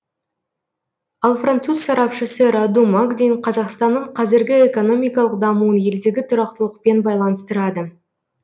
ал француз сарапшысы раду магдин қазақстанның қазіргі экономикалық дамуын елдегі тұрақтылықпен байланыстырады